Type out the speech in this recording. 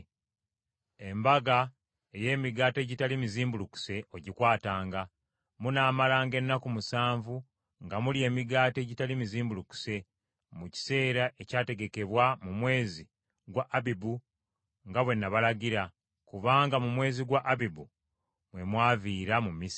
“Embaga ey’Emigaati Egitali Mizimbulukuse ogikwatanga. Munaamalanga ennaku musanvu nga mulya emigaati egitali mizimbulukuse, mu kiseera ekyategekebwa mu mwezi gwa Abibu nga bwe nabalagira; kubanga mu mwezi gwa Abibu mwe mwaviira mu Misiri.